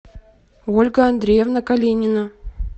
ольга андреевна калинина